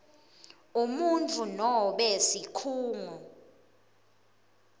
umuntfu noma sikhungo